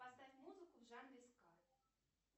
поставь музыку в жанре ска